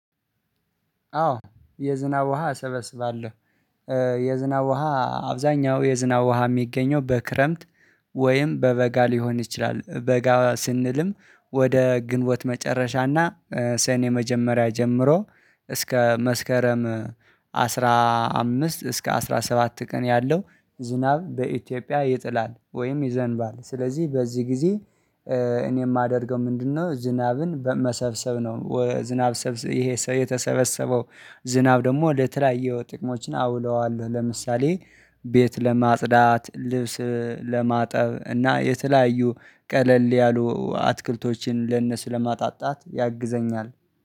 አዎ የዝናብ ውሃ እሰበስባለሁ። የዝናብ ውሃ አብዛኛው የዝናብ ውሃ የሚገኘው በክረምት ወይም በበጋ ሊሆን ይችላል በጋ ስንልም ወደ ግንቦት መጨረሻና ሰኔ መጀመሪያ ጀምሮ እስከ መስከረም አስራ አምስት እስከ አስራ ሰባት ቀን ያለው ዝናብ በኢትዮጵያ ይጥላል ወይም ይዘንባል ስለዚህ በዚህ ጊዜ እኔ የማደርገው ምንድነው ዝናብን በመሰብሰብ ነው ዝናብ ይሄ የተሰበሰበው ዝናብ ደግሞ ለተለያየው ጥቅሞችን አውለዋለሁ ለምሳሌ ቤት ለማጽዳት፣ ልብስ ለማጠብ እና የተለያዩ ቀለል ያሉ አትክልቶችን ለነሱ ለማጣጣት ያግዘኛል።